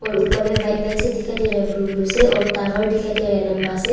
ऊपर में white white से दिखाई दे रहा है ब्लू ब्लू से और टावर दिखाई दे रहा है लंबा से।